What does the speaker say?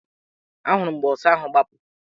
A hụrụ m mgbe ọsa ahụ gbapụrụ.